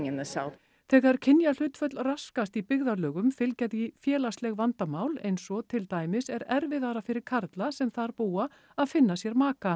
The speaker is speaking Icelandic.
þegar kynjahlutföll raskast í byggðalögum fylgja því félagsleg vandamál eins og til dæmis er erfiðara fyrir karla sem þar búa að finna sér maka